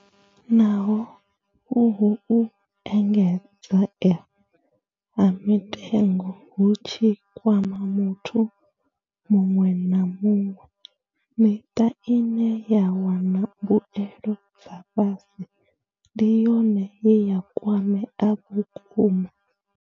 Naho uhu u engedzea ha mitengo hu tshi kwama muthu muṅwe na muṅwe, miṱa ine ya wana mbuelo dza fhasi ndi yone ye ya kwamea vhukuma.